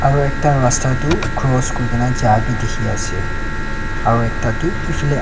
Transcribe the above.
aro ekta rasta tu cross kurina ja bi dikhiase aro ekta tu efalae --